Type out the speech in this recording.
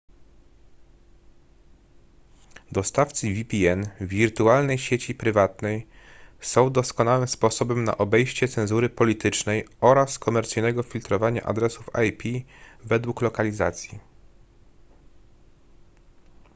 dostawcy vpn wirtualnej sieci prywatnej są doskonałym sposobem na obejście cenzury politycznej oraz komercyjnego filtrowania adresów ip według lokalizacji